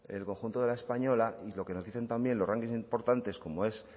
el conjunto de la española y lo que nos dicen también los rankings importantes como es